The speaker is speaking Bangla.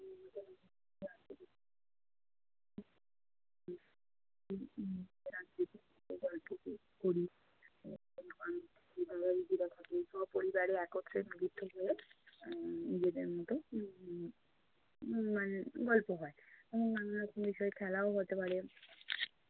করি। সপরিবারে একত্রে নিজের থেকে উম নিজেদের মতো উম উম মানে গল্প হয় এবং নানা রকম বিষয়ে খেলাও হতে পারে।